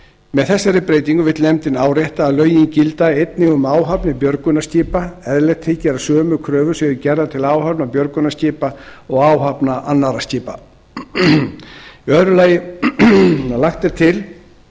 með þessari breytingu vill nefndin árétta að lögin gildi einnig um áhafnir björgunarskipa eðlilegt þykir að sömu kröfur séu gerðar til áhafna björgunarskipa og áhafna annarra skipa annars lagt er til